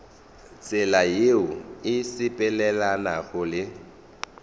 tsela yeo e sepelelanago le